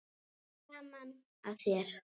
Gaman að þér!